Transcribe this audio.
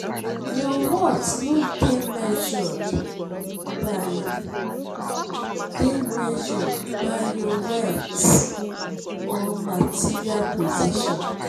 your worth no dey measured by dey measured by your wealth or material possessions.